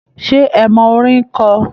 Ṣé ẹ mọ orin kọ?